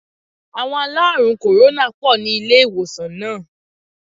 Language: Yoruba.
Àwon aláàrùn kòrónà pò ní ilé ìwòsàn náà